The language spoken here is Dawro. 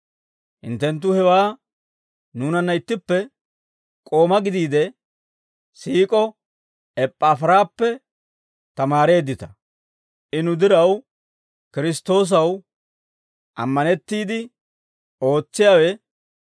Hinttenttu hewaa nuunanna ittippe k'ooma gideedda siik'o Eppaafiraappe tamaareeddita; I nu diraw Kiristtoosaw ammanettiide ootsiyaawe,